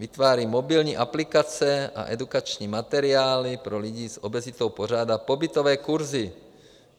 Vytváří mobilní aplikace a edukační materiály, pro lidi s obezitou pořádá pobytové kurzy.